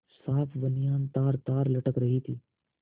साफ बनियान तारतार लटक रही थी